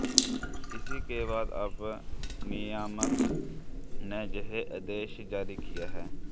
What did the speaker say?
इसी के बाद अब नियामक ने यह आदेश जारी किया है